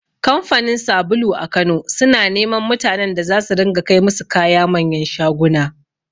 Kamfanin sabulu a Kano suna neman mutanen da za su ringa kai musu kaya manyan shaguna.